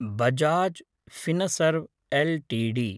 Bajaj Finserv LTD